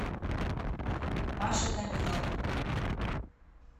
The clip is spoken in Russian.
паше томилову